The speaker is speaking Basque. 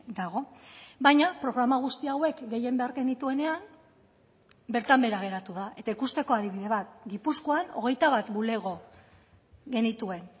dago baina programa guzti hauek gehien behar genituenean bertan behera geratu da eta ikusteko adibide bat gipuzkoan hogeita bat bulego genituen